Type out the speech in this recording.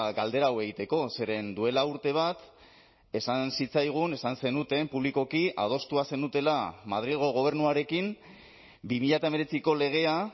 galdera hau egiteko zeren duela urte bat esan zitzaigun esan zenuten publikoki adostua zenutela madrilgo gobernuarekin bi mila hemeretziko legea